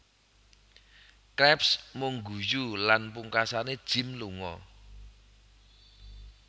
Krabs mung guyu lan pungkasane Jim lunga